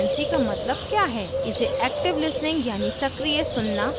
इसे active listening यानि सक्रिय सुन्ना कहते हैं